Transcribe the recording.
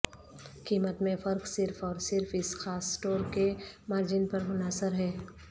قیمت میں فرق صرف اور صرف اس خاص اسٹور کے مارجن پر منحصر ہے